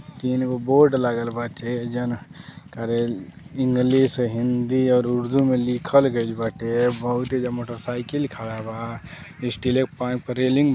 तीन गो बोर्ड लागल बाटे इंग्लिश हिंदी और उर्दू में लिखल गइल बाटे। बहुत एहिजा मोटरसाइकिल खड़ा बा स्टील क पाइप क रेलिंग --